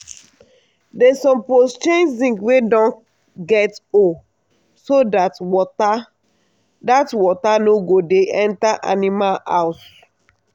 dem suppose change zinc wey don get hole so dat water dat water no go dey enter animal house